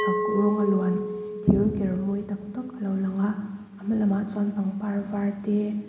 chak rawnga luan thir ker mawi tak tak a lo lang a a hma lamah chuan pangpar var te--